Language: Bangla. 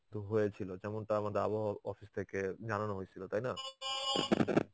তো হয়েছিল. যেমনটা আমাদের আবহাওয়া অফিস থেকে জানানো হয়েছিল. তাই না?